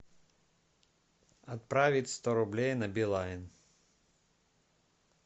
отправить сто рублей на билайн